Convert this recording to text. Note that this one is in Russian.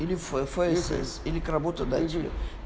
или ф фэйсес или к работодателю